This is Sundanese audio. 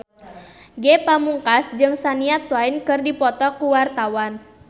Ge Pamungkas jeung Shania Twain keur dipoto ku wartawan